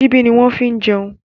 Ṣíbí ni wọ́n fi ní jẹun.